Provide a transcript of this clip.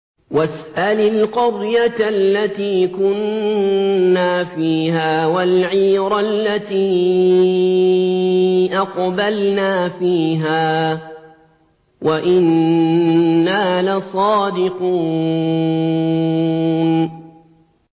وَاسْأَلِ الْقَرْيَةَ الَّتِي كُنَّا فِيهَا وَالْعِيرَ الَّتِي أَقْبَلْنَا فِيهَا ۖ وَإِنَّا لَصَادِقُونَ